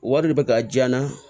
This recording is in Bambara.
Wari de bɛ ka jayan